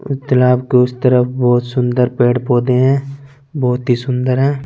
उ तालाब के उस तरफ बहोत सुंदर पेड़ पौधे हैं बहोत ही सुंदर हैं।